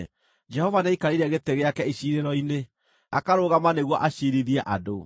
Jehova nĩaikarĩire gĩtĩ gĩake iciirĩro-inĩ; akarũgama nĩguo aciirithie andũ.